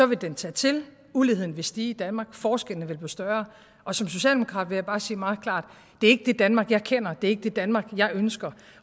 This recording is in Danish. vil den tage til uligheden vil stige i danmark forskellene vil blive større og som socialdemokrat vil jeg bare sige meget klart det er ikke det danmark jeg kender det er ikke det danmark jeg ønsker